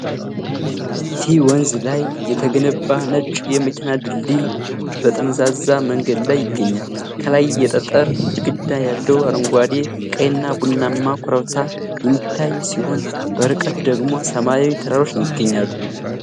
ፊ ወንዝ ላይ የተገነባ ነጭ የመኪና ድልድይ ጠመዝማዛ መንገድ ላይ ይገኛል። ከላይ የጠጠር ግድግዳ ያለው አረንጓዴ፣ ቀይና ቡናማ ኮረብታ የሚታይ ሲሆን፣ በርቀት ደግሞ ሰማያዊ ተራሮች ይገኛሉ።